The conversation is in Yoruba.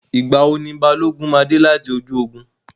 Ìgbà wo ni Balógun máa dé láti ojú ogun?